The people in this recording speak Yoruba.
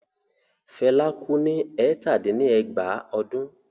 Fela kú ní ẹ̀tàdín-ní-ẹgbàá ọdún?